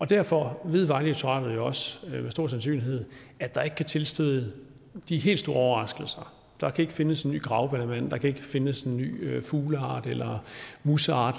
derfor ved vejdirektoratet jo også med stor sandsynlighed at der ikke kan tilstøde de helt store overraskelser der kan ikke findes en ny grauballemand der kan ikke findes en ny fugleart eller museart